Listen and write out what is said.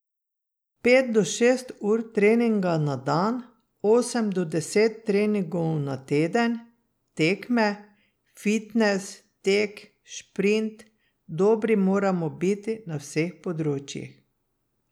Pet do šest ur treninga na dan, osem do deset treningov na teden, tekme, fitnes, tek, sprint, dobri moramo biti na vseh področjih.